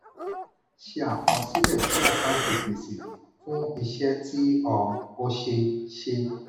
ṣe àkọsílẹ̀ sí àkántì gbèsè fún iṣẹ tí um o ṣe. ṣe.